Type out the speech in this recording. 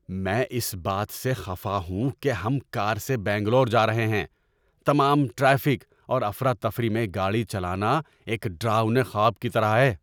میں اس بات سے خفا ہوں کہ ہم کار سے بنگلور جا رہے ہیں۔ تمام ٹریفک اور افراتفری میں گاڑی چلانا ایک ڈراؤنے خواب کی طرح ہے!